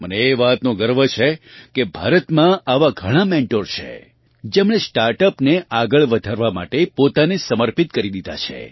મને એ વાતનો ગર્વ છે કે ભારતમાં આવાં ઘણાં મેન્ટોર છે જેમણે સ્ટાર્ટઅપ ને આગળ વધારવાં માટે પોતાને સમર્પિત કરી દીધી છે